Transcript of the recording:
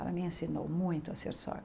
Ela me ensinou muito a ser sogra.